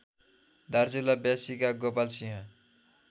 दार्चुला व्यासीका गोपालसिंह